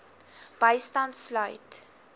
bystand sluit